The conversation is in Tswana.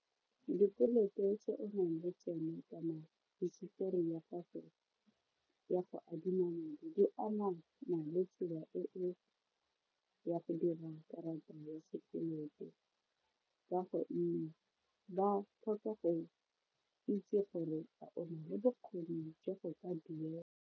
Dikoloto tse o nang le tsone kana hisitori ya gago ya go adima madi di amana le tsela e o ya go dira karata ya sekoloto kwa gonne ba tlhoka go itse gore a o na le bokgoni jwa go ka duela.